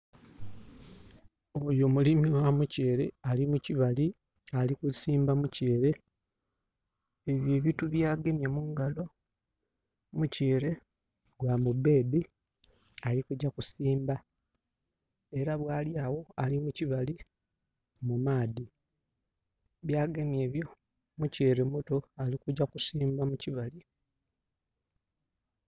Oyo mulimi gha mutyeere, ali mu kibali ali kusimba mutyeere. Ebyo ebitu bya gemye mungalo, mutyeere gwa mu bed, ali kugya kusimba. Era bwali awo ali mukibali mu maadhi. Byagemye ebyo mutyeere muto ali kugya kusimba mukibali.